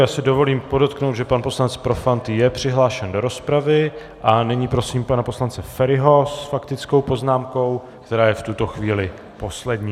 Já si dovolím podotknout, že pan poslanec Profant je přihlášen do rozpravy, a nyní prosím pana poslance Feriho s faktickou poznámkou, která je v tuto chvíli poslední.